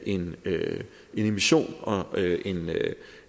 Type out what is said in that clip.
en emission og